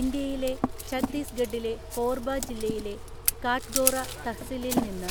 ഇന്ത്യയിലെ ഛത്തീസ്ഗഡിലെ കോർബ ജില്ലയിലെ കാട്ഗോറ തഹ്സിലിൽ നിന്ന്